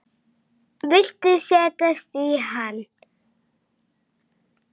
Viltu setjast í hann?